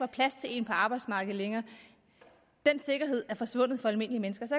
plads til en på arbejdsmarkedet er forsvundet for almindelige mennesker så